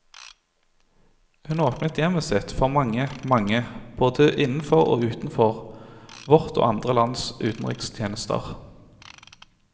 Hun åpnet hjemmet sitt for mange, mange, både innenfor og utenfor vårt og andre lands utenrikstjenester.